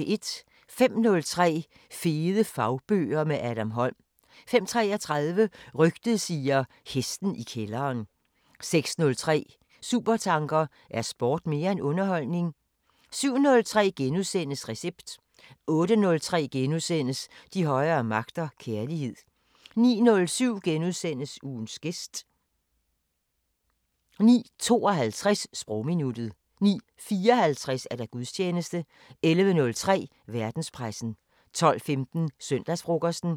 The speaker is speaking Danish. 05:03: Fede fagbøger – med Adam Holm 05:33: Rygtet siger: Hesten i kælderen 06:03: Supertanker: Er sport mere end underholdning? 07:03: Recept * 08:03: De højere magter: Kærlighed * 09:07: Ugens gæst * 09:52: Sprogminuttet 09:54: Gudstjeneste 11:03: Verdenspressen 12:15: Søndagsfrokosten